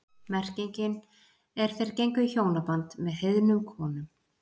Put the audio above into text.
Merkingin er þeir gengu í hjónaband með heiðnum konum.